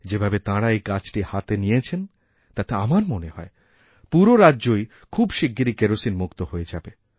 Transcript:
যেভাবে তাঁরা এইকাজটি হাতে নিয়েছেন তাতে আমার মনে হয় পুরো রাজ্যই খুব শিগগিরি কেরোসিনমুক্ত হয়েযাবে